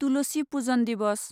Tulsi Pujan Diwas